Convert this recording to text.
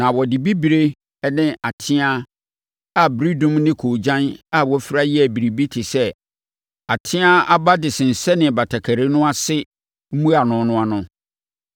Na wɔde bibire ne ateaa a ɛberedum ne koogyan a wɔafira yɛɛ biribi te sɛ ateaa aba de sensɛnee batakari no ase mmuano no ano.